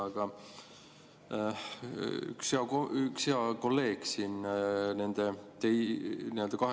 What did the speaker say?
Aga üks hea kolleeg siin 2022.